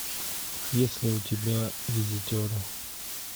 есть ли у тебя визитеры